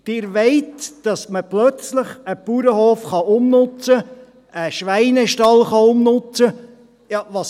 Sie wollen, dass man plötzlich einen Bauernhof oder einen Schweinestall umnutzen kann.